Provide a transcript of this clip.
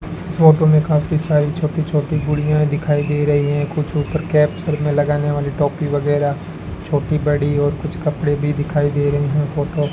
इस फोटो में काफी सारी छोटी छोटी गुड़िया दिखाई दे रही है कुछ ऊपर कैप्चर में लगाने वाली टोपी वगैराह छोटी बड़ी और कुछ कपड़े भी दिखाई दे रहे हैं फोटो --